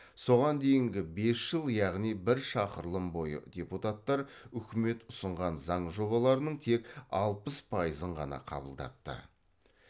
соған дейінгі бес жыл яғни бір шақырылым бойы депутаттар үкімет ұсынған заң жобаларының тек алпыс пайызын ғана қабылдапты